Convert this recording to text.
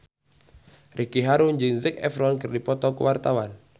Ricky Harun jeung Zac Efron keur dipoto ku wartawan